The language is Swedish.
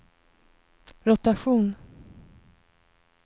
rotation